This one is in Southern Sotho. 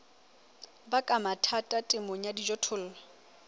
baka mathata temong ya dijothollo